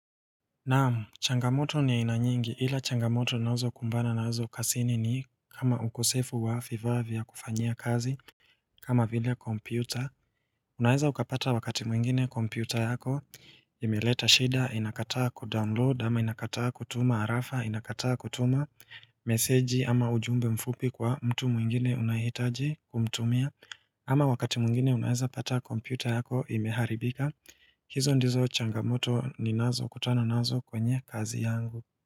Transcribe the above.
Naam changamoto nina nyingi ila changamoto ninazokumbana nazo kazini ni kama ukosefu wa vifaa vya kufanya kazi kama vile kompyuta Unaweza ukapata wakati mwingine kompyuta yako imeleta shida inakataa kudownload ama inakataa kutuma arafa inakataa kutuma meseji ama ujumbe mfupi kwa mtu mwingine unahitaji kumtumia ama wakati mwingine unaweza pata kompyuta yako imeharibika hizo ndizo changamoto ninazo kutana nazo kwenye kazi yangu.